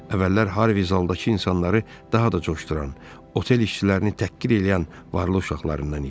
Əvvəllər Harvi zaldakı insanları daha da coşduran, otel işçilərini təhqir eləyən varlı uşaqlarından idi.